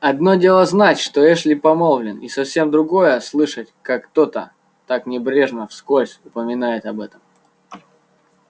одно дело знать что эшли помолвлен и совсем другое слышать как кто-то так небрежно вскользь упоминает об этом